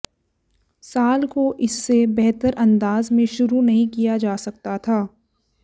साल को इससे बेहतर अंदाज में शुरू नहीं किया जा सकता था